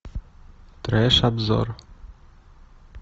треш обзор